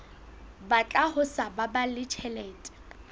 batla ho sa baballe tjhelete